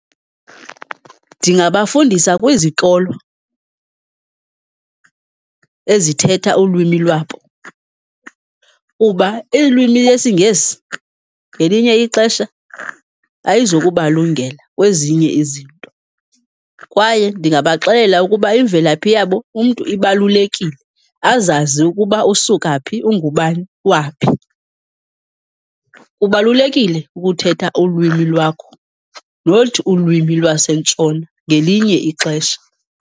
Ndingabafundisa kwizikolo ezithetha ulwimi lwabo kuba ilwimi lesiNgesi ngelinye ixesha ayizi kubalungela kwezinye izinto. Kwaye ndingabaxelela ukuba imvelaphi yabo umntu ibalulekile, azazi ukuba usuka phi, ungubani waphi. Kubalulekile ukuthetha ulwimi lwakho, not ulwimi lwasentshona ngelinye ixesha.